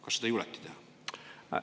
Kas seda julgeti teha?